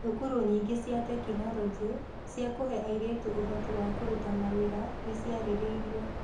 Thukuru nyingĩ cia tekinoronjĩ cia kũhe airĩtu ũhoti wa kũruta mawĩra nĩ ciarĩrĩirio